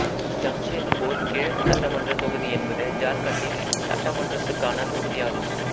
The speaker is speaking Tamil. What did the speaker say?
ஜம்ஷேத்பூர் கிழக்கு சட்டமன்றத் தொகுதி என்பது ஜார்க்கண்டின் சட்டமன்றத்துக்கான தொகுதி ஆகும்